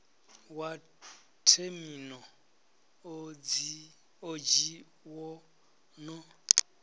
wa themino odzhi wo no